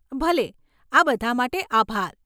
ભલે, આ બધાં માટે આભાર.